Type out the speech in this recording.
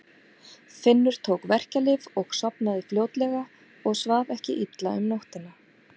Finnur tók verkjalyf og sofnaði fljótlega og svaf ekki illa um nóttina.